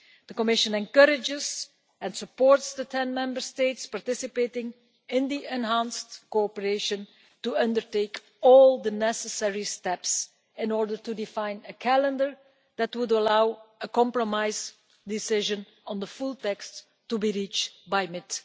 The Commission encourages and supports the ten Member States participating in the enhanced cooperation to undertake all the necessary steps in order to define a calendar that will allow a compromise decision on the full text to be reached by mid